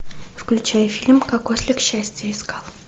включай фильм как ослик счастье искал